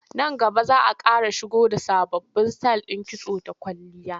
Nan gaba za a ƙara shigo da sababbin sitayil ɗin kitso da kwalliya.